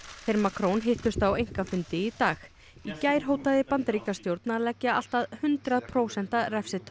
þeir Macron hittust á einkafundi í dag í gær hótaði Bandaríkjastjórn að leggja allt að hundrað prósenta